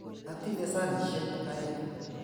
Atinye sanisyek aeng'.